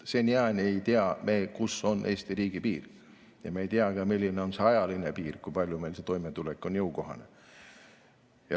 Seniajani ei tea me, kus on Eesti riigi piir, ja me ei tea ka, milline on see ajaline piir, kusmaani meile toimetulek jõukohane on.